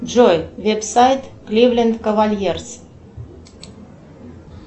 джой веб сайт кливленд кавальерс